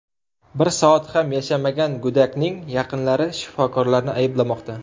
Bir soat ham yashamagan go‘dakning yaqinlari shifokorlarni ayblamoqda.